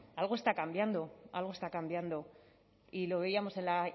algo está cambiando algo está cambiando y lo veíamos en la